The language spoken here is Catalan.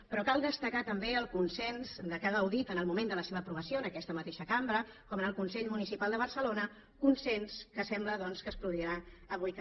però cal destacar també el consens de què ha gaudit en el moment de la seva aprovació en aquesta mateixa cambra com en el consell municipal de barcelona consens que sembla doncs que es produirà avui també